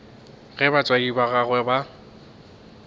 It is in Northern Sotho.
ge batswadi ba gagwe ba